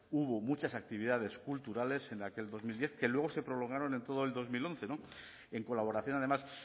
hubo muchas actividades culturales en aquel dos mil diez que luego se prolongaron en todo el dos mil once en colaboración además